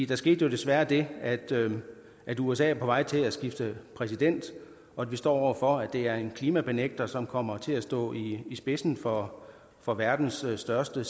der skete jo desværre det at usa er på vej til at skifte præsident og at vi står over for at det er en klimabenægter som kommer til at stå i spidsen for for verdens største